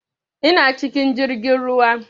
Ina cikin jirgin ruwa